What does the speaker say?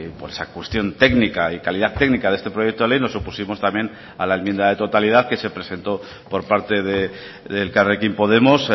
por esa cuestión técnica y calidad técnica de este proyecto de ley nos opusimos también a la enmienda de totalidad que se presentó por parte de elkarrekin podemos